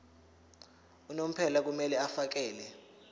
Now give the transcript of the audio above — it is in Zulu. unomphela kumele afakele